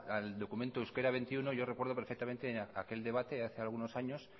al documento de euskera veintiuno yo recuerdo perfectamente aquel debate hace algunos años